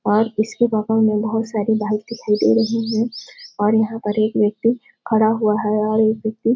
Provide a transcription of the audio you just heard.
और इसके और यहाँ पर एक व्यक्ति खड़ा हुआ है और एक व्यक्ति --